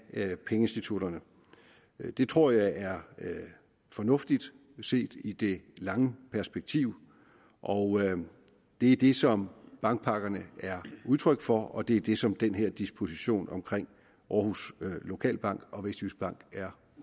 af pengeinstitutterne det tror jeg er fornuftigt set i det lange perspektiv og det er det som bankpakkerne er udtryk for og det er det som den her disposition omkring aarhus lokalbank og vestjyskbank er